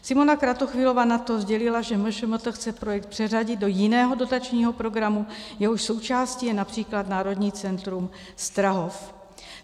Simona Kratochvílová na to sdělila, že MŠMT chce projekt přeřadit do jiného dotačního programu, jehož součástí je například národní centrum Strahov.